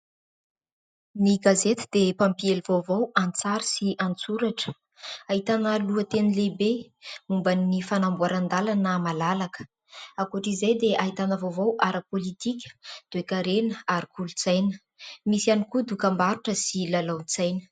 Ny gazety dia mpampiely vaovao an-tsary sy an-tsoratra. Ahitana lohateny lehibe momban'ny fanamboaran-dalana malalaka. Ankoatran'izay dia ahitana vaovao ara-politika, toe-karena ary kolontsaina. Misy ihany koa dokam-barotra sy lalaon-tsaina.